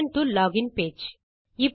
return to login page